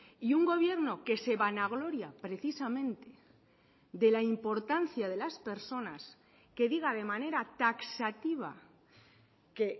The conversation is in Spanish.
y un gobierno que se vanagloria precisamente de la importancia de las personas que diga de manera taxativa que